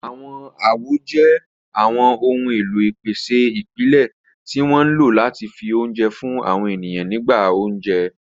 Àwọn àwo jẹ́ àwọn ohun èlò ìpèsè ìpìlẹ̀ tí wọ́n ń lò láti fi oúnjẹ fún àwọn ènìyàn nígbà oúnjẹ.